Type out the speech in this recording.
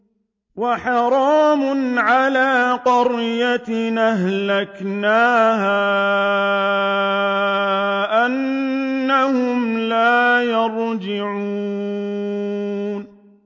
وَحَرَامٌ عَلَىٰ قَرْيَةٍ أَهْلَكْنَاهَا أَنَّهُمْ لَا يَرْجِعُونَ